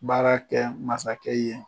Baara kɛ masakɛ ye.